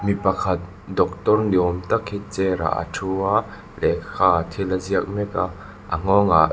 mi pakhat doctor ni awm tak hi chair ah a ṭhu a lehkhaah thil a ziak mek a a nghawngah--